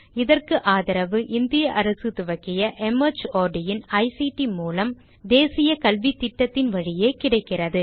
இதற்கு ஆதரவு இந்திய அரசு துவக்கிய மார்ட் இன் ஐசிடி மூலம் தேசிய கல்வித்திட்டத்தின் வழியே கிடைக்கிறது